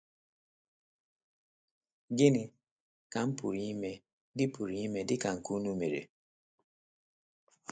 “ Gịnị ka m pụrụ ime dị pụrụ ime dị ka nke unu mere? ”